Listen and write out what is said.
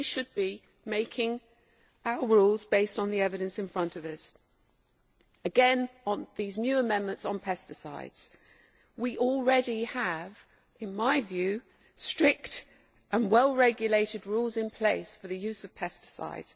We should be making our rules based on the evidence in front of us. Again, on these new amendments on pesticides, we already have, in my view, strict and well regulated rules in place for the use of pesticides.